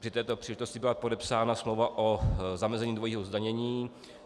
Při této příležitosti byla podepsána smlouva o zamezení dvojího zdanění.